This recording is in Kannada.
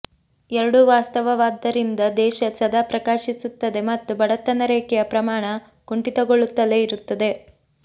ಎರಡೂ ವಾಸ್ತವವಾದ್ದರಿಂದ ದೇಶ ಸದಾ ಪ್ರಕಾಶಿಸುತ್ತದೆ ಮತ್ತು ಬಡತನ ರೇಖೆಯ ಪ್ರಮಾಣ ಕುಂಠಿತಗೊಳ್ಳುತ್ತಲೇ ಇರುತ್ತದೆ